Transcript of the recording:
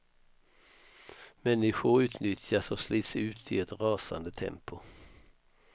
Människor utnyttjas och slits ut i ett rasande tempo.